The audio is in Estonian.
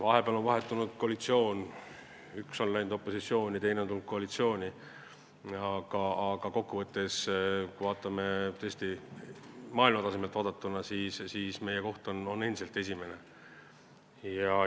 Vahepeal on vahetunud koalitsioon, üks erakond on läinud opositsiooni, teine on tulnud koalitsiooni, aga kokkuvõttes, kui me vaatame tõesti maailma tasemelt, siis meie koht on endiselt esimene.